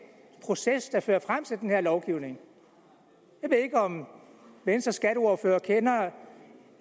proces der førte frem til den her lovgivning jeg ved ikke om venstres skatteordfører kender